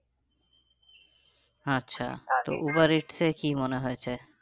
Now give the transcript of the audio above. আচ্ছা তো Uber Eats এ কি মনে হয়েছে?